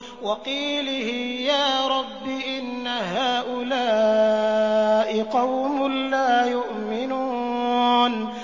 وَقِيلِهِ يَا رَبِّ إِنَّ هَٰؤُلَاءِ قَوْمٌ لَّا يُؤْمِنُونَ